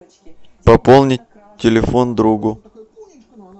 пополнить телефон другу